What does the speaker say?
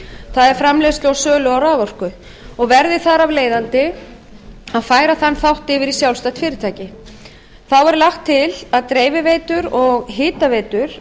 það er framleiðslu og sölu á raforku og verði þar af leiðandi að færa þann þátt yfir í sjálfstætt fyrirtæki þá er lagt til að dreifiveitur og hitaveitur